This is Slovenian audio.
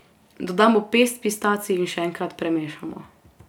Dodamo pest pistacij in še enkrat premešamo.